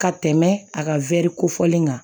Ka tɛmɛ a ka kofɔli kan